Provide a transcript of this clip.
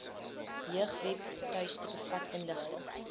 jeugwebtuiste bevat inligting